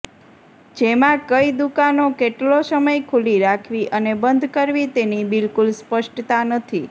જેમાં કઈ દુકાનો કેટલો સમય ખુલ્લી રાખવી અને બંધ કરવી તેની બિલકુલ સ્પષ્ટતા નથી